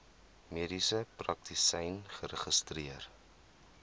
mediese praktisyn geregistreer